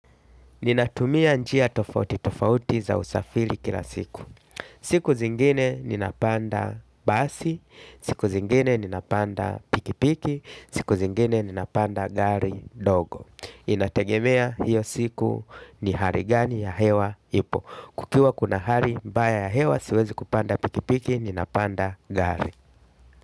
Ninatumia njia tofauti tofauti za usafiri kila siku. Siku zingine ninapanda basi, siku zingine ninapanda pikipiki, siku zingine ninapanda gari ndogo. Inategemea hiyo siku ni haligani ya hewa ipo. Kukiwa kuna hali mbaya ya hewa siwezi kupanda pikipiki ninapanda gari.